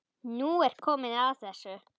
Nú er komið að þessu.